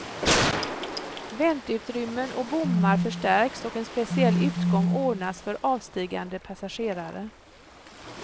Väntutrymmen och bommar förstärks och en speciell utgång ordnas för avstigande passagerare.